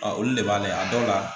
olu de b'a lajɛ a dɔw la